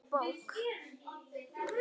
Einstök bók.